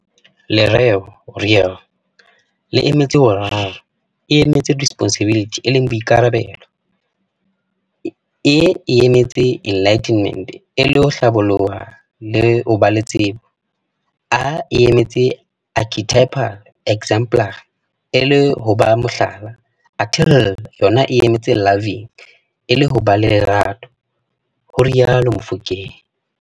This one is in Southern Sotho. Lereo "Real" le emetse hore R e emetse Responsibility e leng Boikarabelo, E e emetse Enlightenment e leng ho Hlaboloha le ho ba le tsebo, A e emetse Archetypal, exemplary, e leng ho ba Mohlala, athe L yona e emetse Loving e leng ho ba le Lerato," ho rialo Mofokeng.